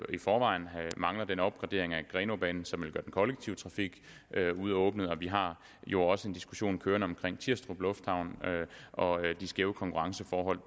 i forvejen den opgradering af grenaabanen som vil den kollektive trafik og vi har jo også en diskussion kørende om tirstrup lufthavn og de skæve konkurrenceforhold